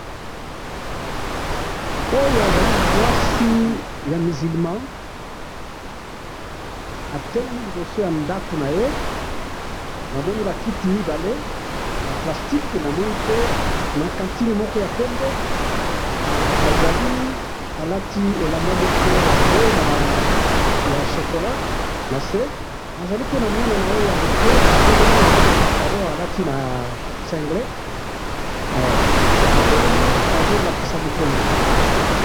oyo azali mwasi ya muslimah atelemi liboso na ndaku naye namoni ba kiti mibale ya plastique namoni pe na cantine moko ya pembe azali alati elamba moko ya bleu na ya chocola nase aza pena mwana naye yamuke atelemi alati patalon na cengle ba telemi bazo latisa mokongo